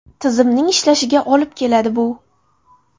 Tizimning ishlashiga olib keladi bu.